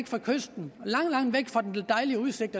fra kysten langt langt væk fra den dejlige udsigt